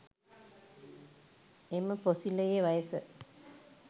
එම පොසිලයේ වයස